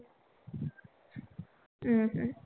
हम्म हम्म